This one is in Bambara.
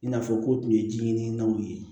I n'a fɔ ko tun ye ji ɲinini ye